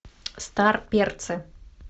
старперцы